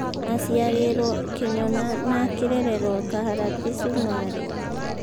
Aciarĩrwo kĩnyona na akĩrererwo kaharati, sumarĩ